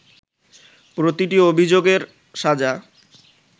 প্রতিটি অভিযোগের সাজা